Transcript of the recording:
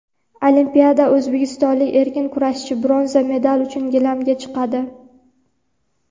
Olimpiada: o‘zbekistonlik erkin kurashchi bronza medal uchun gilamga chiqadi.